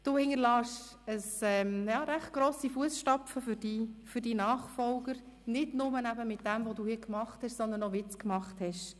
Du hinterlässt recht grosse Fussstapfen für deinen Nachfolger, nicht nur mit dem, was du hier gemacht hast, sondern auch durch die Art, wie du es gemacht hast.